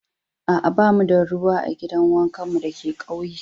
Aa, ba mu da ruwa a gidan wankan mu da ke ƙauyen.